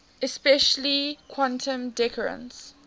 especially quantum decoherence